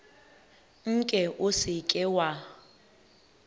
nke o se ke wa